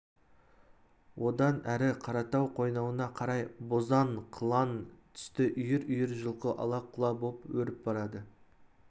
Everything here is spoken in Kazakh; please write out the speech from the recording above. одан әрі қаратау қойнауына қарай бозаң қылаң түсті үйір-үйір жылқы ала-құла боп өріп барады